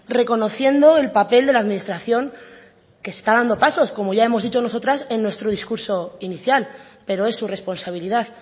reconociendo el papel de la administración que está dando pasos como ya hemos dicho nosotras en nuestro discurso inicial pero es su responsabilidad